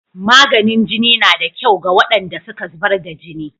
Maganin jini na da kyau ga waɗanda suka zubar da jini.